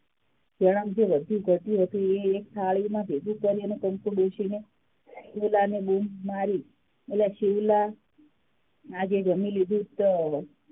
તેમાથી વધ્યું -ઘટ્યું હતું એ એક થાળીમાં ભેગું કર્યું અને કંકુ ડોશી એ શિવલાને બૂમ મારી અલા શિવલા આજે જામી લીધું તો,